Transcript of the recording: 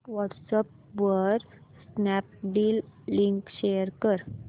WhatsApp वर Snapdeal link share कर